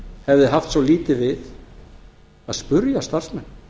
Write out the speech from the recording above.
hefði haft svo lítið við að spyrja starfsmenn